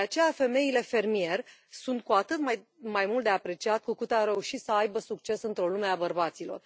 De aceea, femeile fermier sunt cu atât mai mult de apreciat cu cât au reușit să aibă succes într o lume a bărbaților.